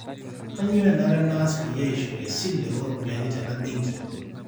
kainyoo enare naas peyie aishori esile oo ropiyani tena benki